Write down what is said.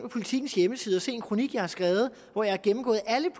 politikens hjemmeside og se en kronik jeg har skrevet hvor jeg har gennemgået alt